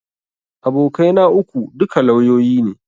Abokai na uku, duka lauyoyi ne